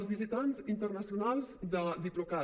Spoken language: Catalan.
els visitants internacionals de diplocat